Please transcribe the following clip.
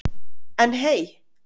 En hey!